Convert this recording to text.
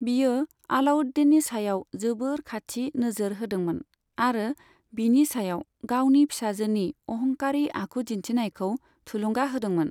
बियो आलाउद्दीननि सायाव जोबोर खाथि नोजोर होदोंमोन, आरो बिनि सायाव गावनि फिसाजोनि अहंकारि आखु दिन्थिनायखौ थुलुंगा होदोंमोन।